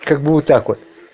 как бы вот так вот